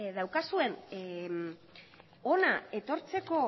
daukazuen hona etortzeko